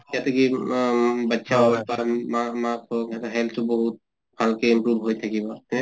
health টো বহুত ভালকে improve হৈ থাকিব ।